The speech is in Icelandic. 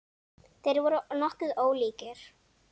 Þeir voru nokkuð ólíkir.